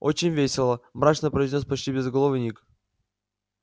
очень весело мрачно произнёс почти безголовый ник